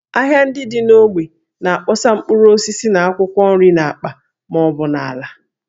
Ahịa ndị dị n’ógbè na-akpọsa mkpụrụ osisi na akwụkwọ nri n’akpa ma ọ bụ n’ala